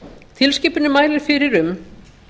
tilskipunin mælir fyrir um